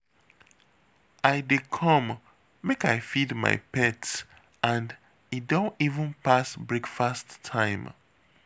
I dey come make I feed my pets and e don even pass breakfast time